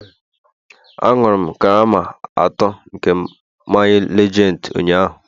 Aṅụrụ m karama atọ nke mmanya lejendi ụnyaahụ